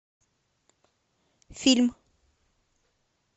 фильм